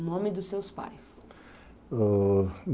O nome dos seus pais?